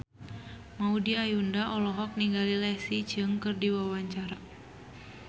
Maudy Ayunda olohok ningali Leslie Cheung keur diwawancara